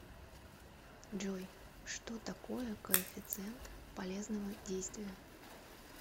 джой что такое коэффициент полезного действия